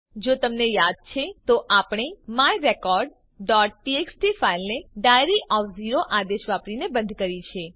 જો તમને યાદ છે તો આપણે માય recordટીએક્સટી ફાઈલને ડાયરી ઓફ ઝીરો આદેશ વાપરીને બંધ કરી છે